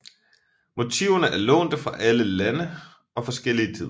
Motiverne er lånte fra alle lande og forskellige tider